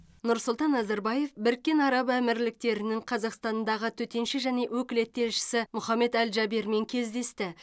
нұрсұлтан назарбаев біріккен араб әмірліктерінің қазақстандағы төтенше және өкілетті елшісі мұхаммед әл джабермен кездесті